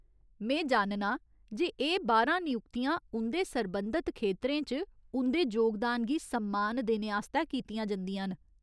में जाननां जे एह् बारां नयुक्तियां उं'दे सरबंधत खेतरें च उं'दे जोगदान गी सम्मान देने आस्तै कीतियां जंदियां न।